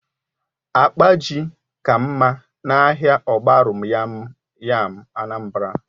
Akpa ji ka mma na ahịa ogbaru yam Anambra